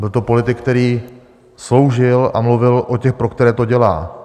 Byl to politik, který sloužil a mluvil o těch, pro které to dělá.